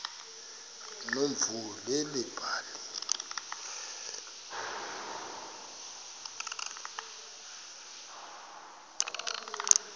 nomvuyo leli bali